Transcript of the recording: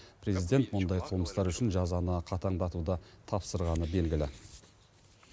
президент мұндай қылмыстар үшін жазаны қатаңдатуды тапсырғаны белгілі